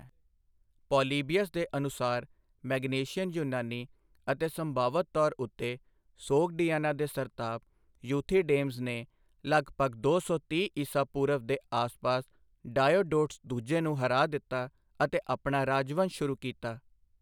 Polybius ਦੇ ਅਨੁਸਾਰ Magnesian ਯੂਨਾਨੀ ਅਤੇ ਸੰਭਆਵਤ ਤੌਰ ਉੱਤੇ ਸੋਗਡੀਆਨਾ ਦੇ ਸਰਤਾਪ, ਯੂਥੀਡੇਮਸ ਨੇ ਲਗਭਗ ਦੋ ਸੌ ਤੀਹ ਈਸਾ ਪੂਰਵ ਦੇ ਆਸਪਾਸ ਡਾਇਓਡੋਟਸ ਦੂਜੇ ਨੂੰ ਹਰਾ ਦਿੱਤਾ ਅਤੇ ਆਪਣਾ ਰਾਜਵੰਸ਼ ਸ਼ੁਰੂ ਕੀਤਾ।